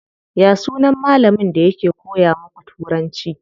Ya sunan malamin da yake koya muku turanci?